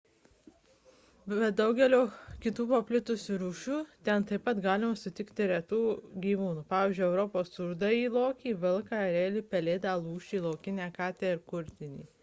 be daugelio kitų paplitusių rūšių ten taip pat galima sutikti retų gyvūnų pavyzdžiui europos rudąjį lokį vilką erelį pelėdą lūšį laukinę katę ir kurtinį